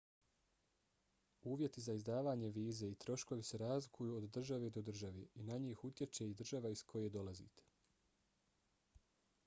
uvjeti za izdavanje vize i troškovi se razlikuju od države do države i na njih utječe i država iz koje dolazite